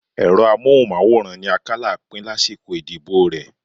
Ẹ̀rọ amóhùnmáwòrán ni Akálà pín lásìkò ìdìbò rẹ